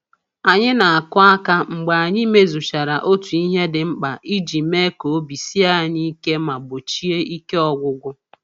Anyị na-akụ aka mgbe anyị mezuchara otu ihe dị mkpa iji mee ka obi sie anyị ike ma gbochie ike ọgwụgwụ.